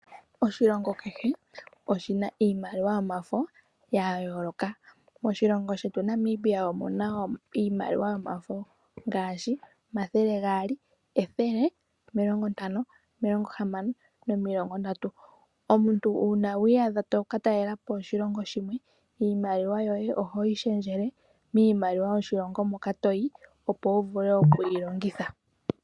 Oshilongo kehe oshina iimaliwa yomafo ya yooloka. Moshilongo shetu Namibia omuna iimaliwa yomafo ngaashi omathele gaali, ethele, omilongo ntano, omilongo hamano nomilongo ndatu. Omuntu uuna wa iyadha to ka talela po oshilongo shimwe, iimaliwa yoye oho yi lundululile miimaliwa yoshilongo moka toyi. Opo wu vule oku yi longitha.